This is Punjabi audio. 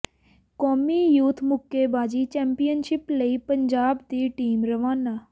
ਕੌਮੀ ਯੂਥ ਮੁੱਕੇਬਾਜ਼ੀ ਚੈਂਪੀਅਨਸ਼ਿਪ ਲਈ ਪੰਜਾਬ ਦੀ ਟੀਮ ਰਵਾਨਾ